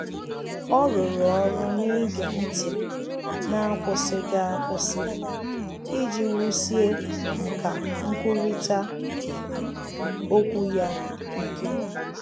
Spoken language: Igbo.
Ọ́ rụ́rụ́ ọ́rụ́ n’ígé ntị́ n’ákwụ́sị́ghị́ ákwụ́sị́ iji wùsíé nkà nkwurịta okwu ya ike.